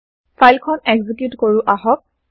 file খন execute কৰো আহক